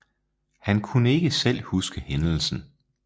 Han kunne ikke selv huske hændelsen